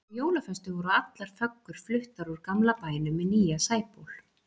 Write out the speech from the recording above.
Á jólaföstu voru allar föggur fluttar úr gamla bænum í nýja Sæból.